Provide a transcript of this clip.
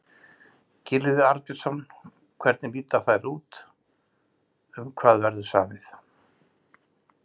Gylfi Arnbjörnsson, hvernig líta þær út, um hvað verður samið?